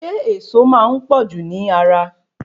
Ṣé ẹ̀ẹ̀so máa n pọ̀jù ni ara?